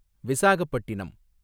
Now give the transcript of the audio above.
Visakhapatnam